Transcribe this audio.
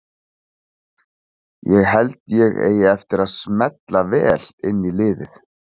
Ég held að ég eigi eftir að smella vel inn í liðið.